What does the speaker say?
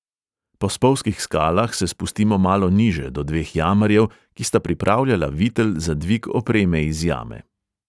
Po spolzkih skalah se spustimo malo niže, do dveh jamarjev, ki sta pripravljala vitel za dvig opreme iz jame.